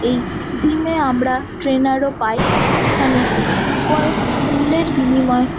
এই জিমে আমরা ট্রেইনার ও পাই। এখানে কয়েক মূল্যের বিনিময়ে--